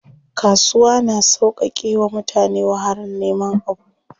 Kasuwa na sauƙake wa mutane wahalar neman abu.